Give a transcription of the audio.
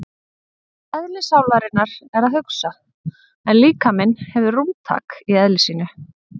Eðli sálarinnar er að hugsa en líkaminn hefur rúmtak í eðli sínu.